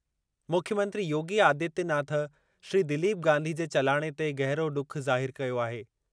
मुख्यमंत्री योगी आदित्यनाथ श्री दिलीप गांधी जे चलाणे ते गहिरो ॾुख ज़ाहिरु कयो आहे।